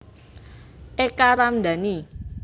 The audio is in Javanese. Eka Ramdani